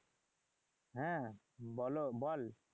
হ্যাঁ বলো বল